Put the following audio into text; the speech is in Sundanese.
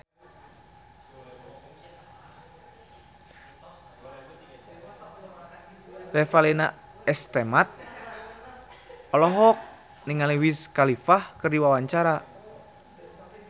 Revalina S. Temat olohok ningali Wiz Khalifa keur diwawancara